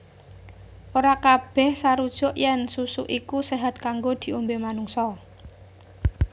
Ora kabèh sarujuk yèn susu iku séhat kanggo diombé manungsa